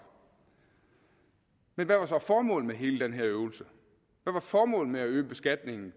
men hvad var så formålet med hele den her øvelse hvad var formålet med at øge beskatningen